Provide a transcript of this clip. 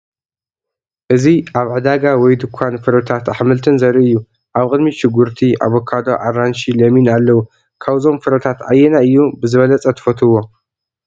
እዚ ኣብ ዕዳጋ ወይ ድኳን ፍረታትን ኣሕምልትን ዘርኢ እዩ። ኣብ ቅድሚት ሽጉርቲ፣ ኣቮካዶ፣ ኣራንሺ፣ ለሚን፣ ኣለዉ። ካብዞም ፍረታት ኣየናይ እዩ ብዝበለፀ ትፍትዉዎ ?